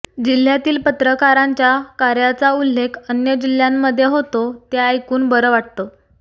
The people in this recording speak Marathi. जिल्ह्यातील पत्रकारांच्या कार्याचा उल्लेख अन्य जिल्ह्यांमध्ये होतो ते ऐकून बर वाटत